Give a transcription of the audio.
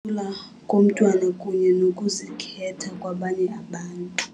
Ukuthula komntwana kunye nokuzikhetha kwabanye abantu.